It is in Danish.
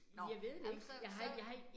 Nåh, jamen så så